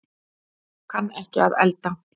Kann ekki að elda